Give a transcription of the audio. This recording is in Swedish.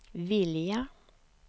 vilja